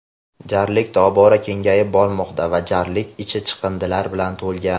Jarlik tobora kengayib bormoqda va jarlik ichi chiqindilar bilan to‘lgan.